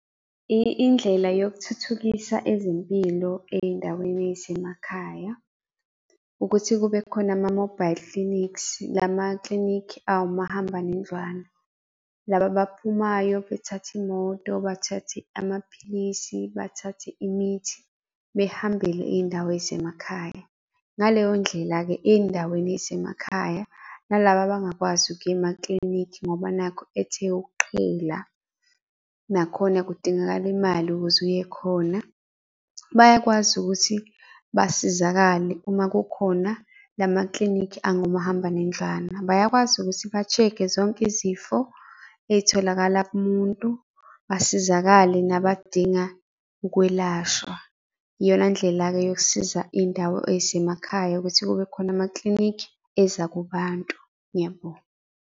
Indlela yokuthuthukisa ezempilo ey'ndaweni ey'semakhaya, ukuthi kube khona ama-mobile clinics, lama-clinic owumahambanendlwana. Laba abaphumayo bethathe imoto, bathathe amaphilisi, bathathe imithi, behambele iy'ndawo ey'semakhaya. Ngaleyo ndlela-ke ey'ndaweni ey'semakhaya nalaba abangakwazi ukuya ema-clinic ngoba nakhu ethe ukuqhela, nakhona kudingakala imali ukuze uye khona. Bayakwazi ukuthi basizakale uma kukhona lama-clinic engomahambanendlwana. Bayakwazi ukuthi ba-check-e zonke izifo ey'tholakala kumuntu basizakale nabadinga ukwelashwa. Iyona ndlela-ke yokusiza iy'ndawo ey'semakhaya ukuthi kube khona ama-clinic eza kubantu. Ngiyabonga.